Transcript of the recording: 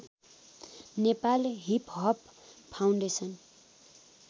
Nepal hiphop foundation